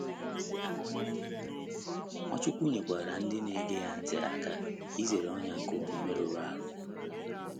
Nwachukwu nyekwaara ndị na - ege ya ntị aka izere ọnyà nke omume rụrụ arụ.